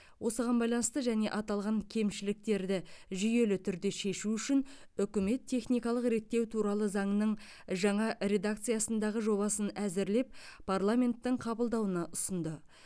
осыған байланысты және аталған кемшіліктерді жүйелі түрде шешу үшін үкімет техникалық реттеу туралы заңның жаңа редакциясындағы жобасын әзірлеп парламенттің қабылдауына ұсынды